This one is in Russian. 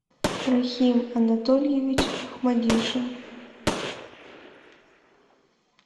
рахим анатольевич ахмадишин